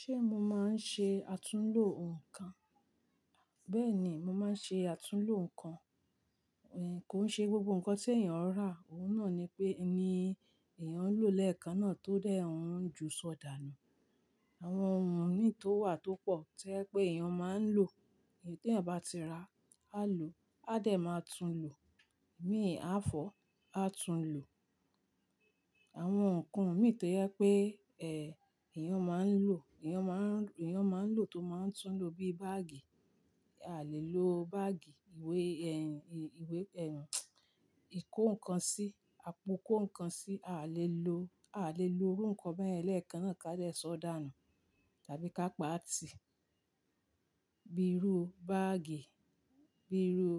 Ṣé mo máa ń ṣe àtúnlo nǹkan? Bẹ́ẹ̀ni, mo máa ń ṣe àtúnlo nǹkan. Ẹ̀ kó ṣe gbogbo nǹkan tí èèyàn ó rà, òun náà ni pé, ni èèyàn ń lòó lẹ́ẹ̀kan náà tó dé òun ń ju sọ̀dáà nù. Àwọn ohun ní tó wà tó pọ̀ tí ẹ́ pé èèyàn máa ń lò, èyí tí a bá ti ra, á lò, a dẹ̀ máa tún lò. Èmi, a fọ̀, a tún lò. Àwọn nǹkan mìíràn tó yẹ pé, ẹ́, èèyàn máa ń lò, èèyàn máa ń, èèyàn máa ń lò tó máa ń tún lò bíi báàgì, a lè lo báàgì ìwé, ẹ́, ìwé, ẹ́, ìkó nǹkan sí, àpò kó nǹkan sí, a lè lò, a lè lo irú nǹkan bẹ́ẹ̀ yẹn lẹ́ẹ̀kan náà ká lè sọ̀dáà nù tàbí ká pa á tì. Bíi irú báàgì, bíi irú,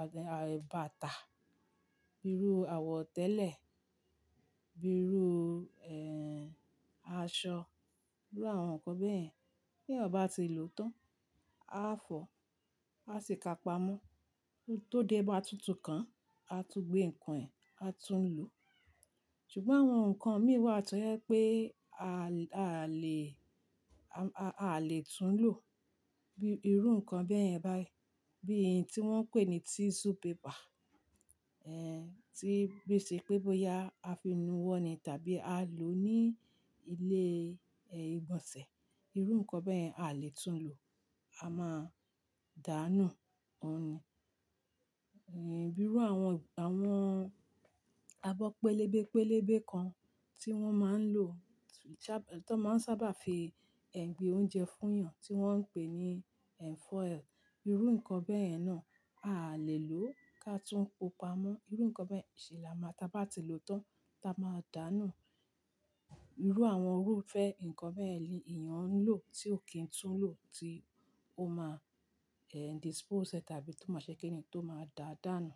àtẹ̀, à, bàtà, bíi irú àwọ̀tẹ́lẹ̀, bíi irú, ẹ́, aṣọ, bíi àwọn nǹkan bẹ́ẹ̀ yẹn. Bí èèyàn bá ti lò ó tán, a fọ̀, a sì ká pa á mú. Tóté bá tutù kan, a tún gbé nǹkan ẹ, a tún lò. Ṣùgbọ́n àwọn nǹkan mìíràn wà tó yẹ pé a lè, a, a lè tún lò. Bíi irú nǹkan bẹ́ẹ̀ yẹn bá, bí i tí wọ́n ń pè ní tissue paper, ẹ́, tí bí ì ṣe pé bóyá a fi nu wọ́n ni tàbí a lò ó ní ilé, ẹ́, ìgbọ̀nsẹ̀. Irú nǹkan bẹ́ẹ̀ yẹn a lè tún lò, a máa dà á nù, òun ni. Ẹ̀, bíi irú àwọn, àwọn abọ́ pẹlẹbẹ pẹlẹbẹ kan tí wọ́n máa ń lò tó, tí wọ́n máa ń sábà fi, ẹ́, gbé oúnjẹ fún èèyàn tí wọ́n ń pè ní ẹ́, foil. Irú nǹkan bẹ́ẹ̀ yẹn náà a lè lò ó ká túń ó pa á mú. Irú nǹkan bẹ́ẹ̀ yẹn ṣe là máa tá bá ti lò ó tán, tá a máa dà á nù. Irú àwọn irúfẹ́ nǹkan bẹ́ẹ̀ ni èèyàn ń lò tí ò kí ń tún lò tí ó máa, ẹ́, dispose ẹ tàbí tó máa ṣe kéni tó máa dà á, dà á nù.